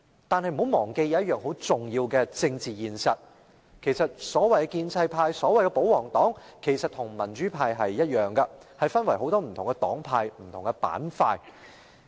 但大家不要忘記一個很重要的政治現實：所謂的建制派或保皇黨其實與民主派一樣，分為多個不同黨派和板塊。